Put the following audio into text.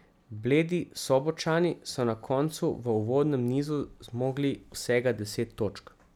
Bledi Sobočani so na koncu v uvodnem nizu zmogli vsega deset točk.